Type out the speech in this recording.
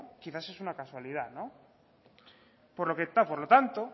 quizás es una casualidad no por lo tanto